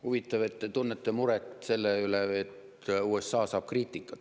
Huvitav, et te tunnete muret selle üle, et USA saab kriitikat.